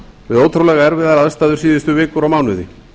við ótrúlega erfiðar aðstæður síðustu vikur og mánuði